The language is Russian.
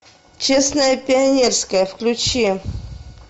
честное пионерское включи